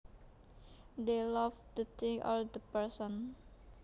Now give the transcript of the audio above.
They love the thing or the person